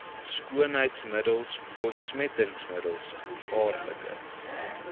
skoonheidsmiddels ontsmettingsmiddels gevaarlike